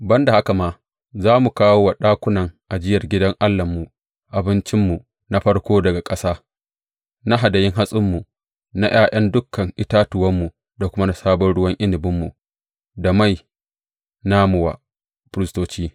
Ban da haka ma, za mu kawo wa ɗakunan ajiyar gidan Allahnmu, abincinmu na farko daga ƙasa, na hadayun hatsinmu, na ’ya’yan dukan itatuwanmu da kuma na sabon ruwan inabinmu da mai namu wa firistoci.